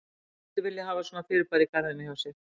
Hver mundi vilja hafa svona fyrirbæri í garðinum hjá sér?